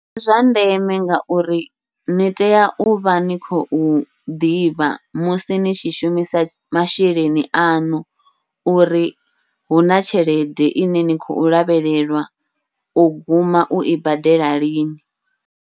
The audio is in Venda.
Ndi zwa ndeme ngauri ni tea uvha ni khou ḓivha musi ni tshi shumisa masheleni aṋu, uri huna tshelede ine ni khou lavhelelwa u guma ui badela lini.